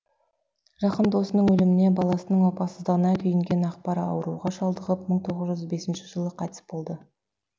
жақын досының өліміне баласының опасыздығына күйінген акбар ауруға шалдығып мың тоғыз жүз бесінші жылы қайтыс болды